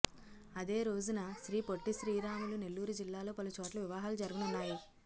అదే రోజున శ్రీపొట్టిశ్రీరాములు నెల్లూరు జిల్లాలో పలుచోట్ల వివాహాలు జరగనున్నాయి